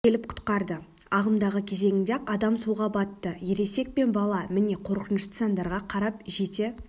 келіп құтқарды ағымдағы кезеңінде-ақ адам суға батты ересек пен бала міне қорқынышты сандарға қарап жете